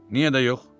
Niyə də yox?